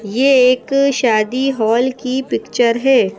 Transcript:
यह एक शादी हॉल की पिक्चर है ।